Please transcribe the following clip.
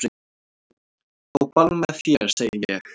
Á ball með þér segi ég.